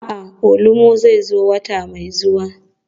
A'a, awolumo zai zo wata mai zuwa.